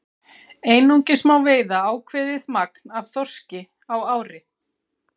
Einungis má veiða ákveðið magn af þorski á ári.